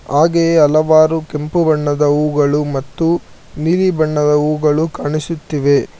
ಹಾಗೆಯೆ ಹಲವಾರು ಕೆಂಪು ಬಣ್ಣದ ಹೂಗಳು ಮತ್ತು ನೀಲಿ ಬಣ್ಣದ ಹೂಗಳು ಕಾಣಿಸುತ್ತಿವೆ.